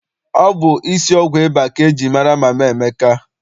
Ọ bụ isi ọgwụ ịba ka eji mara Mama Emeka.